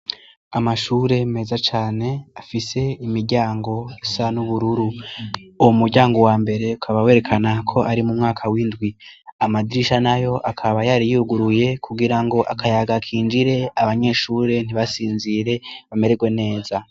Amashure meza cane afise imiryango isa n'ubururu, uwo muryango wa mbere ukaba werekana ko ari mu mwaka w'indwi, amadirisha nayo akaba yari yuguruye kugira ngo akayaga kinjire abanyeshure ntibasinzire bameregwe neza.